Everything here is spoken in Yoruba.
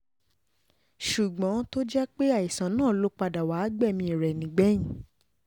ṣùgbọ́n tó jẹ́ pé àìsàn náà ló padà wàá gbẹ̀mí rẹ nígbẹ̀yìn